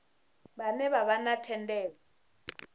vhane vha vha na thendelo